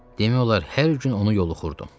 Demək olar hər gün onu yoxlayırdım.